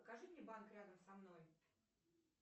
покажи мне банк рядом со мной